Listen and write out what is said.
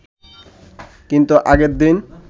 কিন্তু আগের দিন